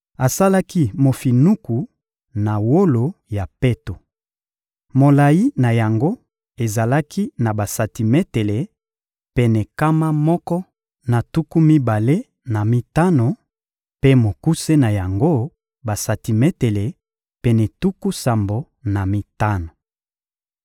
Asalaki mofinuku na wolo ya peto. Molayi na yango ezalaki na basantimetele pene nkama moko na tuku mibale na mitano; mpe mokuse na yango, basantimetele pene tuku sambo na mitano.